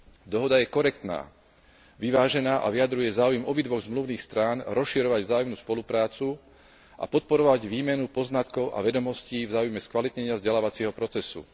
Dohoda je korektná, vyvážená a vyjadruje záujmy obidvoch zmluvným strán rozširovať vzájomnú spoluprácu a podporovať výmenu poznatkov a vedomostí v záujme skvalitnenia vzdelávacieho procesu.